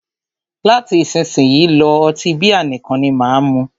Láti isísìnyí lọ́, ọtí bíà nìkan ni máà mú.